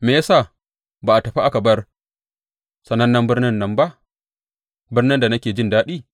Me ya sa ba a tafi aka bar sanannen birnin nan ba, birnin da nake jin daɗi?